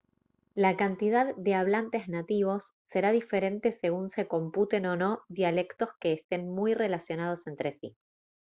la cantidad de hablantes nativos será diferente según se computen o no dialectos que estén muy relacionados entre sí